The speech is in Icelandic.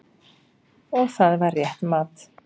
Og það var rétt mat.